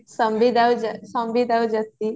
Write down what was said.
ସମ୍ବିତ ଆଉ ଜ୍ୟୋତି